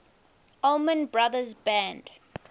allman brothers band